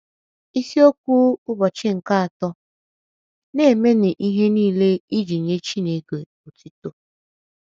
Isiokwu Ụbọchị nke Atọ: “ Na - emenụ Ihe Nile Iji Nye Chineke Otuto ”